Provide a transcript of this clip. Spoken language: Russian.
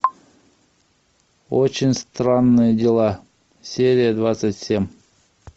очень странные дела серия двадцать семь